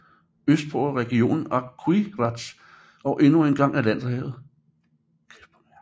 Østpå er regionen Aquiraz og endnu engang Atlanterhavet